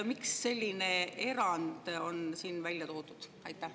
Miks selline erand on siin välja toodud?